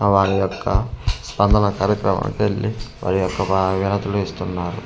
ఆ వాలి యొక్క స్పందన కార్యక్రమానికి వెళ్ళి వారి యొక్క బాగతులు కూడా ఇస్తున్నారు.